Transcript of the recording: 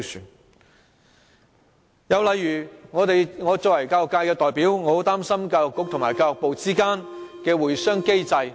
另一例子是我作為教育界代表，很擔心教育局和教育部之間的會商機制。